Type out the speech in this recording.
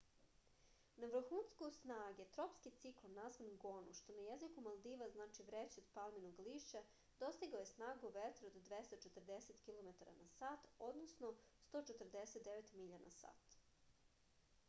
на врхунцу снаге тропски циклон назван гону што на језику малдива значи врећа од палминог лишћа достигао је снагу ветра од 240 километара на сат 149 миља на сат